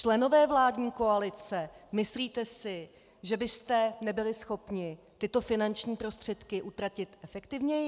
Členové vládní koalice, myslíte si, že byste nebyli schopni tyto finanční prostředky utratit efektivněji?